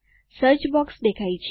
search box દેખાય છે